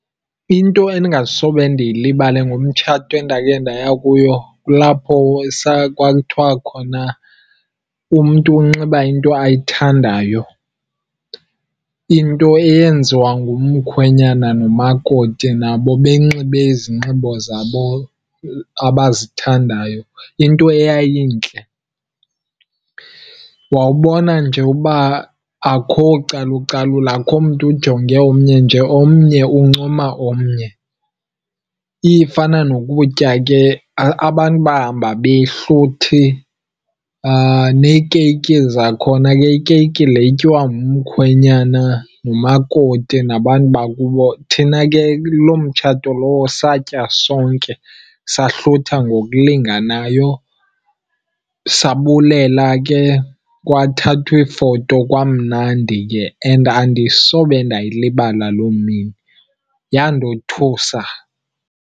Into endingasobe ndiyilibale ngomtshato endakhe ndaya kuyo kulapho kwakuthiwa khona umntu unxiba into ayithandayo. Into eyenziwa ngumkhwenyana nomakoti nabo benxibe izinxibo zabo abazithandayo, into eyayintle. Wawubona nje uba akho calucalulo, akho mntu ujonge omnye, nje omnye uncoma omnye. Ifana nokutya ke, abantu bahamba behluthi. Neekeyiki zakhona ke, ikeyiki le ityiwa ngumkhwenyana, ngumakoti nabantu bakubo, thina ke kuloo mtshato lowo satya sonke sahlutha ngokulinganayo. Sabulela ke, kwathathwa iifoto kwamnandi ke. And andisobe ndayilibala loo mini, yandothusa.